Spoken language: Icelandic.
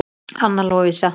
Anna Lovísa.